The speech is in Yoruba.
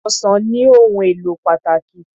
Ọsàn ní ohùn èlò pàtàkì.